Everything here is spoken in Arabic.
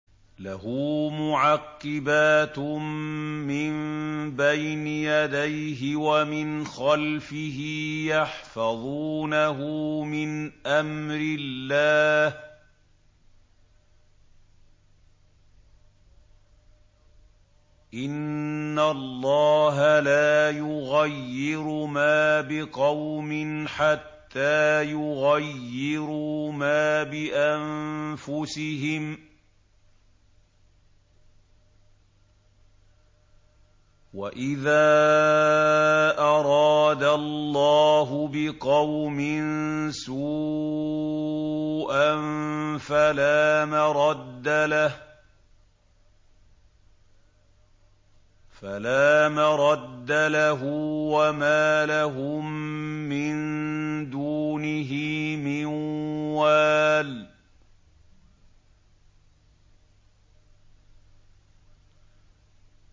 لَهُ مُعَقِّبَاتٌ مِّن بَيْنِ يَدَيْهِ وَمِنْ خَلْفِهِ يَحْفَظُونَهُ مِنْ أَمْرِ اللَّهِ ۗ إِنَّ اللَّهَ لَا يُغَيِّرُ مَا بِقَوْمٍ حَتَّىٰ يُغَيِّرُوا مَا بِأَنفُسِهِمْ ۗ وَإِذَا أَرَادَ اللَّهُ بِقَوْمٍ سُوءًا فَلَا مَرَدَّ لَهُ ۚ وَمَا لَهُم مِّن دُونِهِ مِن وَالٍ